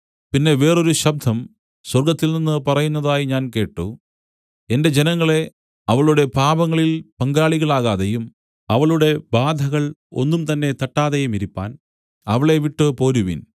പിന്നെ വേറൊരു ശബ്ദം സ്വർഗ്ഗത്തിൽനിന്നു പറയുന്നതായി ഞാൻ കേട്ട് എന്റെ ജനങ്ങളേ അവളുടെ പാപങ്ങളിൽ പങ്കാളികളാകാതെയും അവളുടെ ബാധകൾ ഒന്നുംതന്നെ തട്ടാതെയുമിരിപ്പാൻ അവളെ വിട്ടു പോരുവിൻ